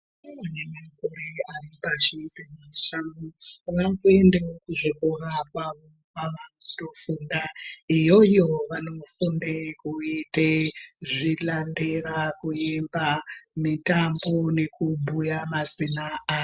Vana vane makore ari pashi pemashanu vanoendawo kuzvikora kwavo kwavanotofunda. Iyoyo vanofunde kuite zvilandera, kuimba ,mitambo, nekubhuya mazina avo.